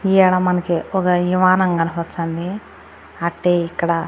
ఈయాలా మనకి ఒగ ఇమానం కనపచ్చాంది అట్టే ఇక్కడ--